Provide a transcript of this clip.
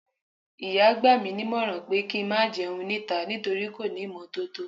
ìyá gba mi nímọ̀ràn pé kí n má jẹun níta, nítorí kò ní ímotótó